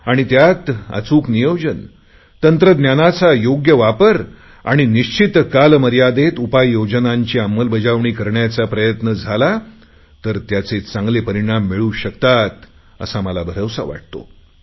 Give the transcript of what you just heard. आणि त्यात अचूक नियोजन तंत्रज्ञानाचा योग्य वापर आणि निश्चित कालमर्यादेत उपाययोजनांची अंमलबजावणी करण्याचा प्रयत्न झाला तर त्याचे चांगले परिणाम मिळू शकतात असा मला भरवसा वाटतो